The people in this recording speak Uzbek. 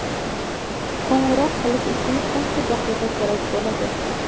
Qo‘ng‘iroq qilish uchun qancha daqiqa kerak bo‘ladi?